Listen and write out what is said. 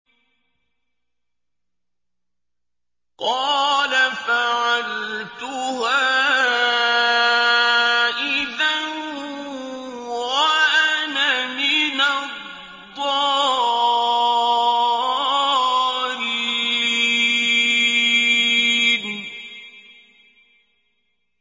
قَالَ فَعَلْتُهَا إِذًا وَأَنَا مِنَ الضَّالِّينَ